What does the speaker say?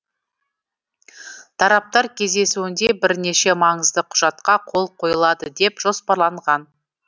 тараптар кездесуінде бірнеше маңызды құжатқа қол қойылады деп жоспарланған